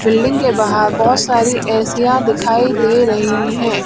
Building के बाहर बहुत सारी एसियां दिखाई दे रही है।